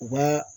U b'a